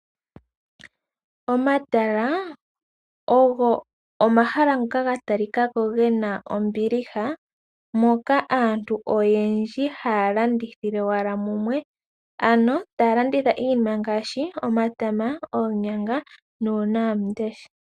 Omatala ogo omahala ngoka gatalikako gena ombiliha moka aantu oyendji hayalandithile wala mumwe ano taya landitha iinima ngaashi omatama, oonyanga nuunawamundesha.